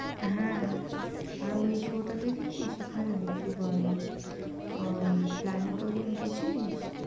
হ্যাঁ, আর ওই show টা দেখেছিস ওখানে কি বলে, আর ওই প্ল্যানেটেরিয়াম গেছিলিস?